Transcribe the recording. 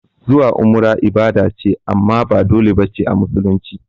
Zuwa umrah ibada ce amma ba dole bace a musulunci